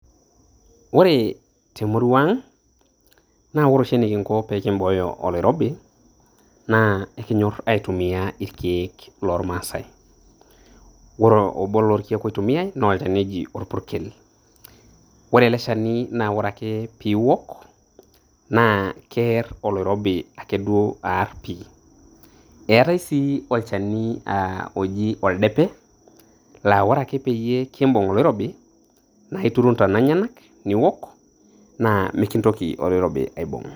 Ore temurua aang' naa ore oshi enikingo pee kimbooyo oloirobi naa ekiny'orr aitumia irkeek lormaasae, ore obo lorrkeek oitumiyai naa olchani oji orpurrkel, ore eleshani naa ore ake pii iok naa keerr oloirobi akeduo aarr pii. Eetai sii olchani aa oji oldepe laa ore ake peyie kiimbung' oloirobi naa aiturru intana eny'enak niok naa mikintoki oloirobi aimbung'.